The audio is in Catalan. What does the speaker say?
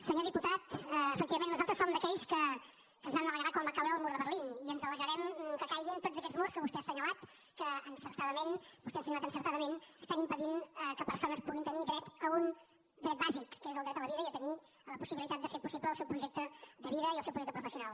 senyor diputat efectivament nosaltres som d’aquells que es van alegrar quan va caure el mur de berlin i ens alegrarem que caiguin tots aquests murs que vostè ha assenyalat que vostè ha assenyalat encertadament estan impedint que persones puguin tenir dret a un dret bàsic que és el dret a la vida i a tenir la possibilitat de fer possible el seu projecte de vida i el seu projecte professional